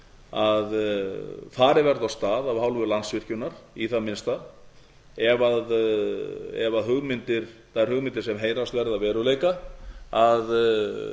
farið verði af stað af hálfu landsvirkjunar í það minnsta ef þær hugmyndir sem heyrast verða að veruleika að